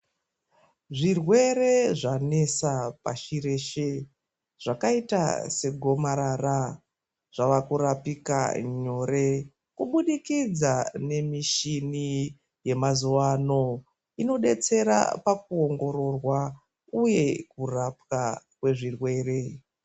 Zvirwere zvanesa pashi reshe zvakaita segomarara zvave kurapika nyore kuburikidza nemishini yemazuva ano, inodetsera pakuongororwa uye kurapwa kwezvirwere.